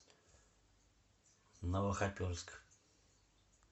новохоперск